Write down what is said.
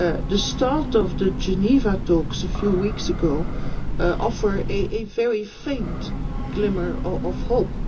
The start of the Geneva talks a few weeks ago offers a very faint glimmer of hope.